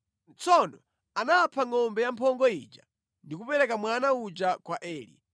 Tsono anapha ngʼombe yamphongo ija ndi kupereka mwana uja kwa Eli.